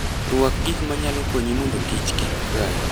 Rwak gik manyalo konyi mondo kik kich kai